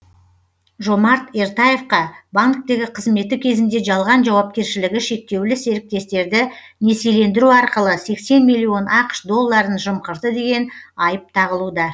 жомарт ертаевқа банктегі қызметі кезінде жалған жауапкершілігі шектеулі серіктестіктерді несиелендіру арқылы сексен миллион ақш долларын жымқырды деген айып тағылуда